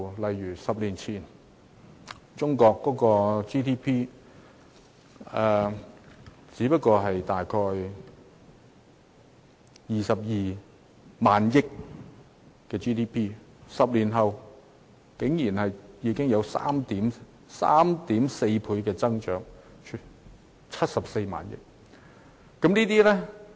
在10年前，中國的 GDP 只不過是約22萬億元，但在10年後，中國的 GDP 竟增長了 3.4 倍，達74萬億元。